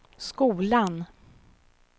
skolan